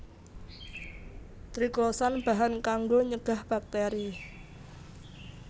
Triclosan bahan kanggo nyegah bakteri